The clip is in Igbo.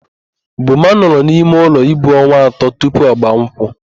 Boma nọrọ n'imeụlọ ibu onwa atọ tupu ọgbaa nkwụ.